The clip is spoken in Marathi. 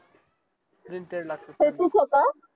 सेतूच का